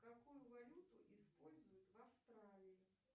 какую валюту используют в австралии